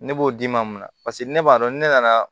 Ne b'o d'i ma mun na paseke ne b'a dɔn ni ne nana